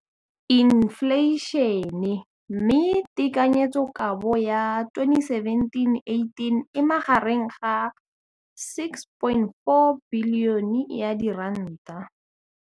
Infleišene, mme tekanyetsokabo ya 2017, 18, e magareng ga R6.4 bilione.